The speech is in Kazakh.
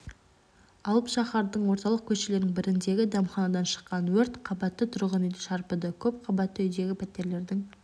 алып шаһардың орталық көшелерінің біріндегі дәмханадан шыққан өрт қабатты тұрғынүйді шарпыды көп қабатты үйдегі пәтерлердің